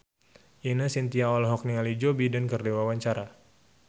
Ine Shintya olohok ningali Joe Biden keur diwawancara